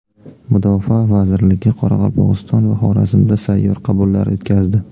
Mudofaa vazirligi Qoraqalpog‘iston va Xorazmda sayyor qabullar o‘tkazdi.